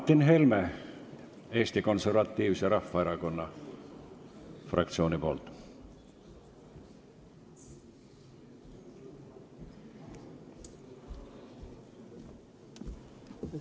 Martin Helme Eesti Konservatiivse Rahvaerakonna fraktsiooni nimel.